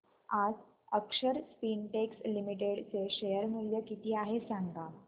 आज Akshar spintex limited चे share मूल्य किती आहे सांगा